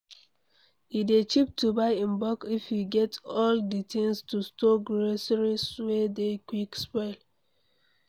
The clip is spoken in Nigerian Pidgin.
E dey cheap to buy in bulk if you get all di things to store groceries wey dey quick spoil